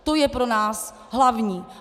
To je pro nás hlavní.